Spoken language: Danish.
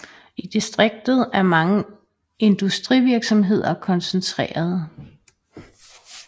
I distriktet er mange industrivirksomheder koncentreret